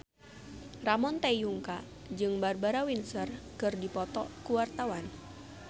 Ramon T. Yungka jeung Barbara Windsor keur dipoto ku wartawan